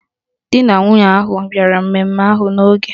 Di na nwunye ahụ bịara mmemme ahụ n'oge